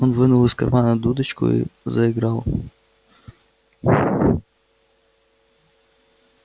он вынул из кармана дудочку и заиграл